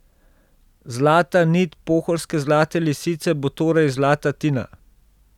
Zlata nit pohorske Zlate lisice bo torej zlata Tina.